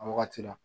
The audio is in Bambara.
A wagati la